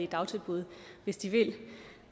dagtilbud hvis de vil